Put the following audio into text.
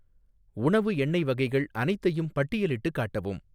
உணவு எண்ணெய் வகைகள் அனைத்தையும் பட்டியலிட்டுக் காட்டவும்